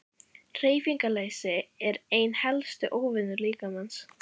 Hreyfingarleysi er einn helsti óvinur líkamans.